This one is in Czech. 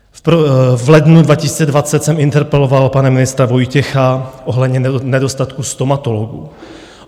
V lednu 2020 jsem interpeloval pana ministra Vojtěcha ohledně nedostatku stomatologů.